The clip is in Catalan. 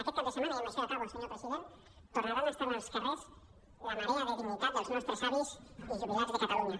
aquest cap de setmana i amb això ja acabo senyor president tornarà a estar en els carrers la marea de la dignitat dels nostres avis i jubilats de catalunya